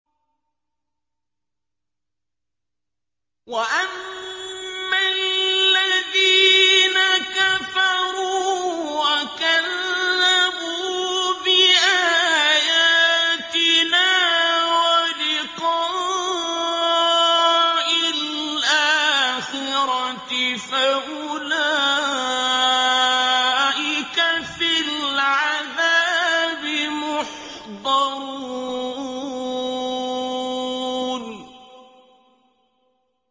وَأَمَّا الَّذِينَ كَفَرُوا وَكَذَّبُوا بِآيَاتِنَا وَلِقَاءِ الْآخِرَةِ فَأُولَٰئِكَ فِي الْعَذَابِ مُحْضَرُونَ